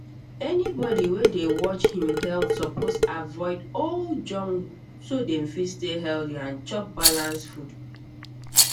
anybody wey dey watch him health suppose avoid all junk so dem fit stay healthy and chop balanced food